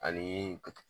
Ani